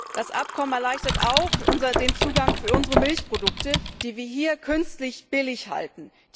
Das Abkommen erleichtert auch den Marktzugang für unsere Milchprodukte, die wir hier künstlich billig halten.